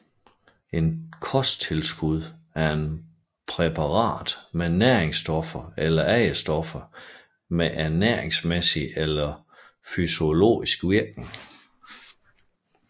Et kosttilskud er et præparat med næringsstoffer eller andre stoffer med ernæringsmæssig eller fysiologisk virkning